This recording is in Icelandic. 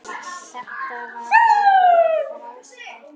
Þetta var alveg frábær tími.